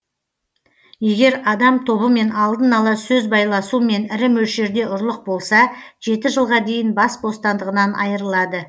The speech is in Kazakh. егер адам тобымен алдын ала сөз байласумен ірі мөлшерде ұрлық болса жеті жылға дейін бас бостандығынан айырылады